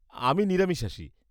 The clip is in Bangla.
আমি নিরামিষাশী।